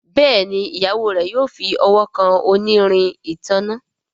Béèni Ìyàwó rẹ yóò fí ọwọ kàn onírin ìtanná.